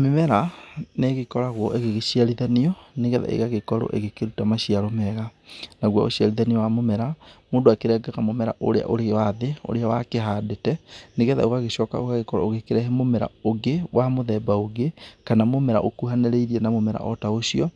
Mĩmera nĩ ĩgĩkoragwo ĩgĩgĩciarithanio, nĩgetha ĩgagĩkorwo ĩgĩkĩruta maciaro mega, naguo ũciarithanio wa mũmera mũndũ akĩrengaga mũmera ũrĩa ũrĩo wa thĩ ũria wakĩhandĩte, nĩgetha ũgagĩcoka ũgakorwo ũgĩkĩrehe mũmera ũngĩ wa mũthemba ũngĩ kana mũmera ũkuhanĩrĩirie na mũmera o ta ũcio,